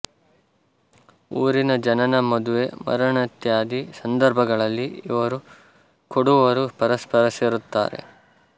ಊರಿನ ಜನನ ಮದುವೆ ಮರಣೇತ್ಯಾದಿ ಸಂದರ್ಭಗಳಲ್ಲಿ ಇವರೂ ಕೊಡವರೂ ಪರಸ್ಪರ ಸೇರುತ್ತಾರೆ